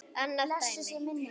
Annað dæmi.